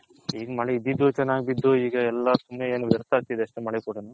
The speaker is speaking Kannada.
ಈಗ ಮಳೆ ಇದಿದು ಚೆನ್ನಾಗ್ ಬಿದ್ದು ಈಗ ಎಲ್ಲಾ ಸುಮ್ನೆ ಏನು ವ್ಯರ್ಥ ಆಗ್ತಿದೆ ಅಷ್ಟೆ ಮಳೆ ಕುಡನು